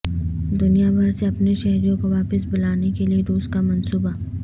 دنیا بھر سے اپنے شہریوں کو واپس بلانے کیلئے روس کا منصوبہ